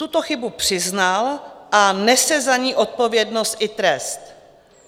Tuto chybu přiznal a nese za ni odpovědnost i trest.